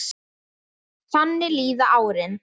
Þannig líða árin.